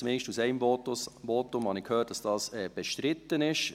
Zumindest aus einem Votum habe ich gehört, dass dies bestritten ist.